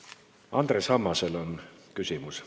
Andres Ammasel on küsimus.